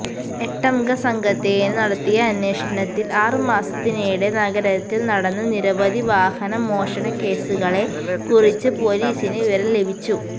എട്ടംഗ സംഘത്തില് നടത്തിയ അന്വേഷണത്തില് ആറുമാസത്തിനിടെ നഗരത്തില് നടന്ന നിരവധി വാഹന മോഷണകേസുകളെ കുറിച്ച് പൊലീസിന് വിവരം ലഭിച്ചു